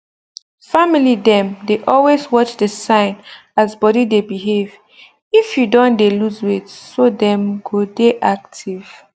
family dem dey always watch the sign as body de behave if you don de lose weight so dem go dey active